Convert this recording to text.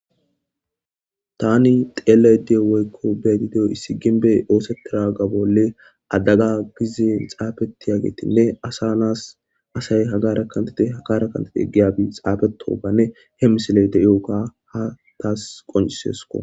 Tani xelayda diyo woyko beyayda diyo issi gimbe osetanaga bolli adaga gize xafetiyagetinne asa nasi asayi hagara kantite hagara kantite giyabiy xaafetogann e he misileyi diyoga tasi qoncisesko.